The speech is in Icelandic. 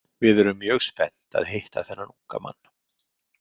Við erum mjög spennt að hitta þennan unga mann.